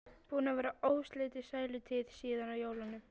Búin að vera óslitin sælutíð síðan á jólunum.